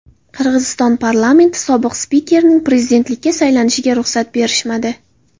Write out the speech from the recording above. Qirg‘iziston parlamenti sobiq spikerining prezidentlikka saylanishiga ruxsat berishmadi.